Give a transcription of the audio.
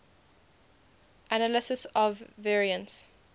analysis of variance